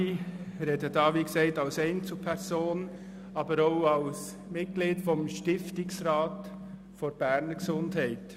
Ich spreche, wie erwähnt, als Einzelperson, aber auch als Mitglied des Stiftungsrats der Beges.